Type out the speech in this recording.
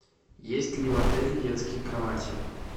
есть ли в отеле детские кровати